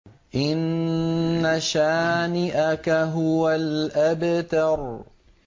إِنَّ شَانِئَكَ هُوَ الْأَبْتَرُ